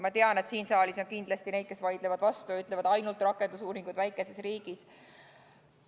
Ma tean, et siin saalis on kindlasti neid, kes vaidlevad vastu ja ütlevad: ainult rakendusuuringud väikeses riigis.